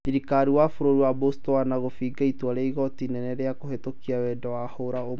Thirikari ya bũrũri wa Botswana gũbinga itua rĩa igooti inene rĩa kũhĩtũkia wendo wa hũra ũmwe